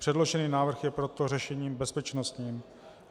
Předložený návrh je proto řešením bezpečnostním.